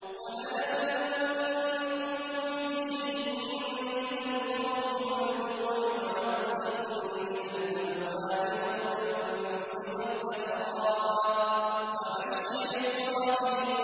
وَلَنَبْلُوَنَّكُم بِشَيْءٍ مِّنَ الْخَوْفِ وَالْجُوعِ وَنَقْصٍ مِّنَ الْأَمْوَالِ وَالْأَنفُسِ وَالثَّمَرَاتِ ۗ وَبَشِّرِ الصَّابِرِينَ